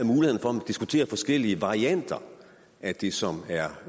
diskutere forskellige varianter af det som er